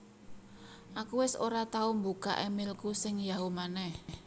Aku wes ora tahu mbukak emailku sing Yahoo maneh